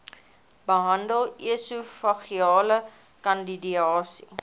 behandel esofageale kandidiase